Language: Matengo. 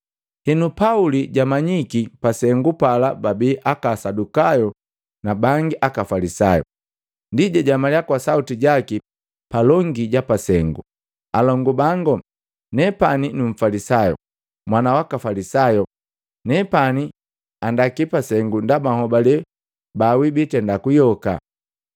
Henu Pauli jamanyiki pasengu pala babii aka Asadukayu na bangi aka Afalisayu. Ndi jajamaliya kwa sauti jaki palongi japa sengu, “Alongu bango, nepane nu Mfalisayo, mwana waka Mfalisayo. Nepani andaki pasengu ndaba nhobale bawii biitenda kuyoka.”